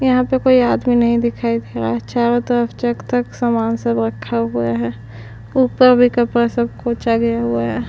यहाँ पर कोई आदमी नहीं दिखाई दे रहा है चारो तरफ जक तक समान सब रखा हुआ है ऊपर भी कपडा सब कुछ हुआ है।